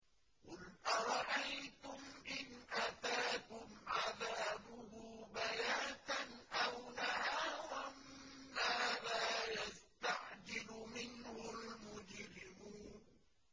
قُلْ أَرَأَيْتُمْ إِنْ أَتَاكُمْ عَذَابُهُ بَيَاتًا أَوْ نَهَارًا مَّاذَا يَسْتَعْجِلُ مِنْهُ الْمُجْرِمُونَ